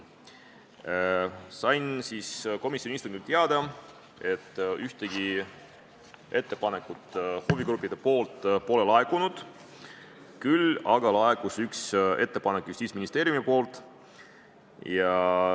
Sain komisjoni istungil teada, et ühtegi ettepanekut huvigruppidelt pole laekunud, küll aga laekus üks ettepanek Justiitsministeeriumilt.